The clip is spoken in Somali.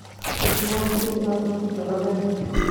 Xasusnow sidhi an iskujecleen.